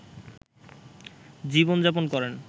জীবনযাপন করেন